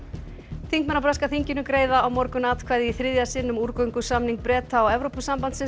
þingmenn á breska þinginu greiða á morgun atkvæði í þriðja sinn um úrgöngusamning Breta og Evrópusambandsins